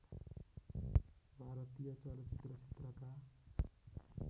भारतीय चलचित्र क्षेत्रका